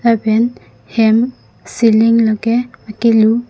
lapen hem ceiling lake akelu.